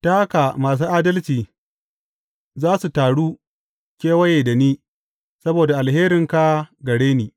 Ta haka masu adalci za su taru kewaye da ni saboda alherinka gare ni.